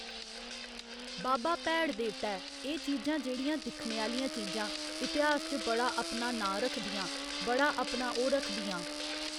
बाबा भैड़ देवता ऐ एह चीजां जेह्‌ड़ियां दिक्खने आह्‌लियां चीजां इतेहास च बड़ा अपना नांऽ रखदियां बड़ा अपना ओह् रखदियां